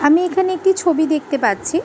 আমি এখানে একটি ছবি দেখতে পাচ্ছি ।